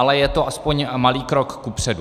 Ale je to alespoň malý krok kupředu.